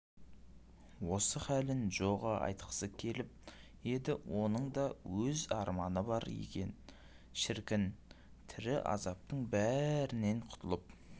осы халін джоға айтқысы келіп еді оның да өз арманы бар екен шіркін тірі азаптың бәрінен құтылып